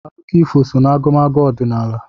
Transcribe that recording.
Akụkọ ifo nọ n'agụmagụ ọdịnala